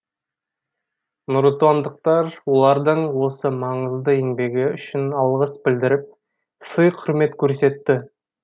нұротандықтар олардың осы маңызды еңбегі үшін алғыс білдіріп сый құрмет көрсетті